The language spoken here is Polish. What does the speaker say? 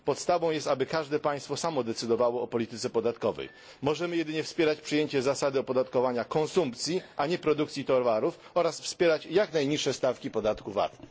Podstawą jest, aby każde państwo samo decydowało o polityce podatkowej. Możemy jedynie wspierać przyjęcie zasady opodatkowania konsumpcji, a nie produkcji towarów oraz wspierać jak najniższe stawki podatku VAT.